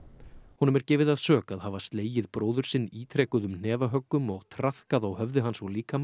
honum er gefið að sök að hafa slegið bróður sinn ítrekuðum hnefahöggum og traðkað á höfði hans og líkama